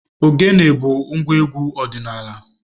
Ogene bu ngwa egwu odinala.